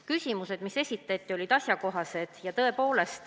Küsimused, mis esitati, olid asjakohased.